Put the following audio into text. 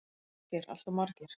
Valgeir: Alltof margir?